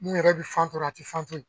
Mun yɛrɛ bi fan tɔrɔ a ti fan toyi.